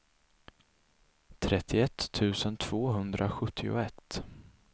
trettioett tusen tvåhundrasjuttioett